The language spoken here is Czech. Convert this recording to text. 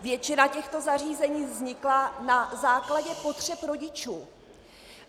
Většina těchto zařízení vznikla na základě potřeb rodičů.